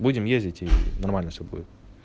будем ездить и нормально всё будет